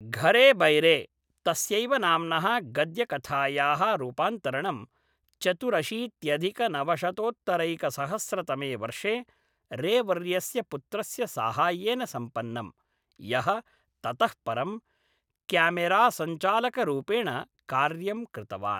घरे बैरे, तस्यैव नाम्नः गद्यकथायाः रूपान्तरणं, चतुरशीत्यधिकनवशतोत्तरैकसहस्रतमे वर्षे रेवर्यस्य पुत्रस्य साहाय्येन सम्पन्नम्, यः ततः परं क्यामेरासञ्चालकरूपेण कार्यं कृतवान्।